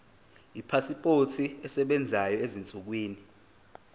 ipasipoti esebenzayo ezinsukwini